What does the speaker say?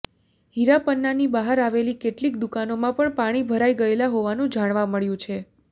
હીરા પન્નાની બહાર આવેલી કેટલીક દુકાનોમાં પણ પાણી ભરાઈ ગયા હોવાનું જાણવા મળ્યું છે